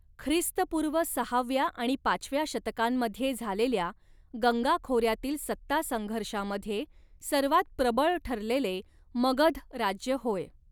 ख्रिस्तपूर्व सहाव्या आणि पाचव्या शतकांमध्ये झालेल्या गंगा खोऱ्यातील सत्तासंघर्षामध्ये सर्वात प्रबळ ठरलेले मगध राज्य होय.